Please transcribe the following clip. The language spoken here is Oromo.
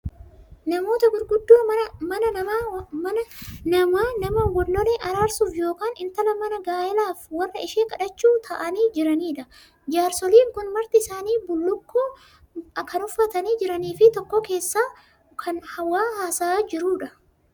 Namoota gurguddoo mana namaa nama wallole araarsuuf yookaan intala manaa gaa'elaaf warra ishee kadhachuu taa'anii jiranidha. Jaarsoliin kun marti isaanii bullukkoo kan uffatanii jiraniifi tokko keessaa kan waa haasa'aa jirudha.